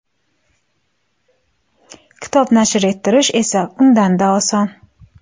Kitob nashr ettirish esa undan-da oson.